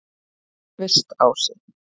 Kvistási